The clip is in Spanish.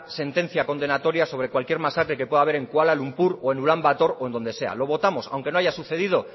sentencia condenatoria sobre cualquier masacre que pueda haber en kuala lumpur o en ulán bator o en donde sea lo votamos aunque no haya sucedido